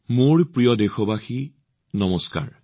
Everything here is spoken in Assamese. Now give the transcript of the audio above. মোৰ মৰমৰ দেশবাসীসকল নমস্কাৰ